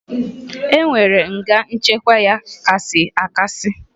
E nwere nga nchekwa ya kasị akasị